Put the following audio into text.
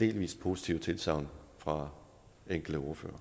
delvist positive tilsagn fra enkelte ordførere